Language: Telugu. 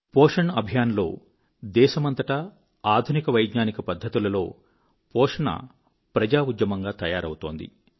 పోషణ్ అభియాన్ లో దేశమంతటా ఆధునిక వైజ్ఞానిక పద్ధతులలో పోషణ ప్రజా ఉద్యమంగా తయారవుతున్నది